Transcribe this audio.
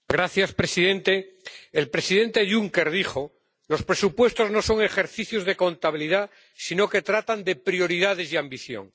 Señor presidente, el presidente Juncker dijo los presupuestos no son ejercicios de contabilidad, sino que tratan de prioridades y ambición.